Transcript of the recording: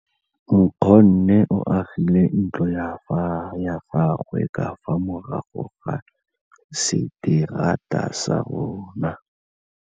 Nkgonne o agile ntlo ya gagwe ka fa morago ga seterata sa rona.